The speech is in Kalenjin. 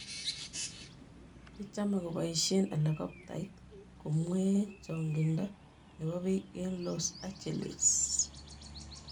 Kichome koboisie Helikoptait komwee chong'indo nebo biik eng Los Angeles